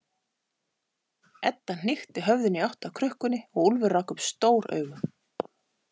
Edda hnykkti höfðinu í átt að krukkunni og Úlfur rak upp stór augu.